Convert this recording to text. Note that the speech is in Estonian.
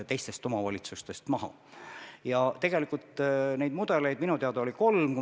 Rääkides pikaajalisest hooldusest, oli tegelikult neid mudeleid minu teada kolm.